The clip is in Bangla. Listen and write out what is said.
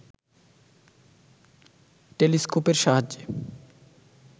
টেলিস্কোপের সাহায্যে